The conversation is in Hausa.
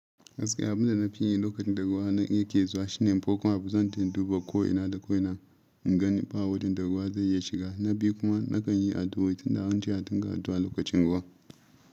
Gaskiya abin da na fi yi lokacin da ruwa na yake zuwa shine farkon habu zan taya duba ko ina da ko ina in gani fa wadon da ruwa zai iya shiga na biyu kuma na kan yi addu'a tun da yawanci a tunga ruwa lokacin ruwa.